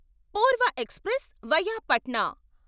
పూర్వ express via Patna